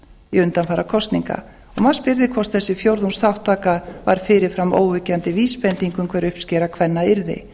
í undanfara kosninga maður spyrði hvort þessi fjórðungsþátttaka var fyrir fram óyggjandi vísbending um hver uppskera kvenna yrði